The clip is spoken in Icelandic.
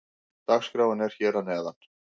Dagskráin er hér að neðan.